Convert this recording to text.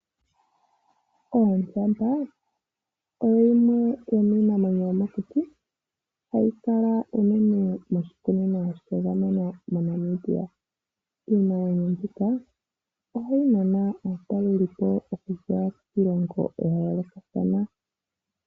Ondjamba oyo yimwe yomiinamwenyo yomokuti , hayi kala unene moshikunino shagamenwa moNamibia . Iinamwenyo mbika ohayi nana aatalelipo okuza kiilongo yayoolokathana .